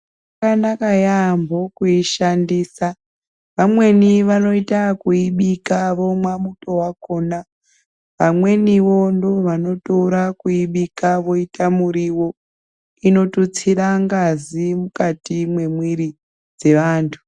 Yakanaka yaampho kuishandisa, vamweni vanoita ekuibika vomwa muto wakhona, vamweni wo ndivo vanotora kuibika voita muriwo, inotutsira ngazi mumwiri dzevanthu.